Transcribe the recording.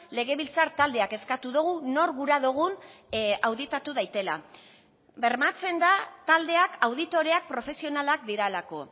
legebiltzar taldeak eskatu dugu nor gura dugun auditatu daitela bermatzen da taldeak auditoreak profesionalak direlako